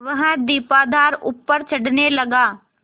वह दीपाधार ऊपर चढ़ने लगा